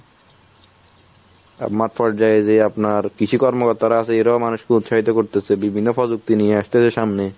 মাত্র যেই যেই আপনার কৃষি কর্ম তারা আছে এরাও মানুষকে করতেছে বিভিন্ন প্রযুক্তি নিয়ে আসতেছে সামনে